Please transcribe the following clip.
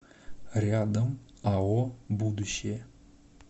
рядом ао будущее